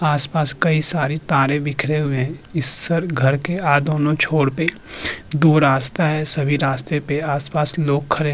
आस-पास कई सारे तारें बिखरे हुए हैं इस सर घर के आ दोनो छोड़ पे दो रास्ता हैं सभी रास्ते पे आस-पास लोग खड़े --